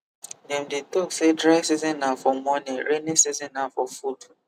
dem dey talk say dry season na for money rainy season na for food